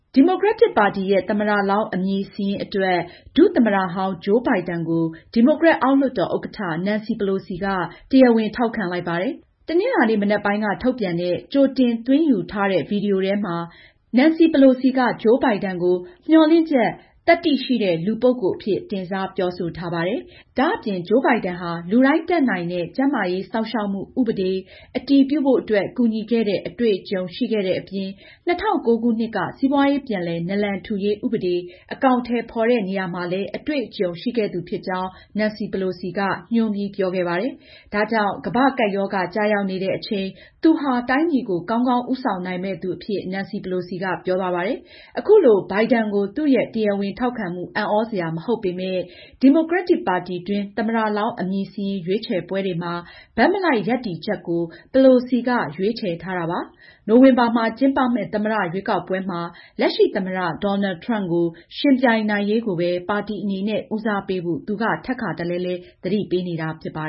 ဒီမိုကရက်တစ် ပါတီရဲ့ သမ္မတလောင်း အမည်စာရင်း အတွက် ဒုသမ္မတဟောင်း Joe Biden ကို ဒီမိုကရက် အောက်လွှတ်တော် ဥက္ကဌ Nancy Pelosi က တရားဝင် ထောက်ခံလိုက်ပါတယ်။ တနင်္လာနေ့ မနက်ပိုင်းက ထုတ်ပြန်တဲ့ ကြိုတင်သွင်းယူထားတဲ့ ဗွီဒီယိုထဲမှာ Nancy Pelosi က Joe Biden ကို မျှော်လင့်ချက်၊ သတ္တိ ရှိနေတဲ့ လူပုဂ္ဂိုလ်အဖြစ်တင်စားပြောဆိုထားပါတယ်။ ဒါအပြင် Joe Biden ဟာ လူတိုင်း တတ်နိုင်တဲ့ ကျန်းမာရေးစောင့်ရှောက်မှု ဥပဒေ အတည်ပြုဖို့အတွက် ကူညီခဲ့တဲ့ အတွေ့အကြုံရှိခဲ့တဲ့အပြင်၊ ၂၀၀၉ခုနှစ်က စီးပွားရေး ပြန်လည် နလန်ထူရေး ဥပဒေ အကောင်အထည်ဖေါ်တဲ့နေရာမှာလည်း အတွေ့အကြုံရှိခဲ့သူဖြစ်ကြောင်း Nancy Pelosi က ညွန်းပြီးပြောခဲ့တယ်။ ဒါကြောင့် ကမ္ဘာကပ်ရောဂါ ကျရောက်နေတဲ့ အချိန် သူဟာ တိုင်းပြည်ကို ကောင်းကောင်းဦးဆောင်နိုင်မယ့် သူဖြစ်အဖြစ် Nancy Pelosi ကပြောသွားပါတယ်။ အခုလို Biden ကို သူရဲ့တရားဝင်ထောက်ခံမှု အံသြစရာ မဟုတ်ပေမဲ့ ဒီမိုကရက်ပါတီတွင်း သမ္မတလောင်းအမည်စာရင်း ရွေးချယ်ပွဲတွေမှာ ဘက်မလိုက် ရပ်တည်ချက်ကို Pelosi ကရွေးချယ်ထားတာပါ။နိုဝင်ဘာမှာ ကျင်းပမယ့် သမ္မတရွေးကောက်ပွဲမှာ လက်ရှိသမ္မတ Donald Trump ကို ယှဉ်ပြိုင်နိုင်ရေးကိုပဲ ပါတီအနေနဲ့ဦးတည်ဖို့ သူက ထပ်ခါတလဲလဲ သတိပေးနေတာ ဖြစ်ပါ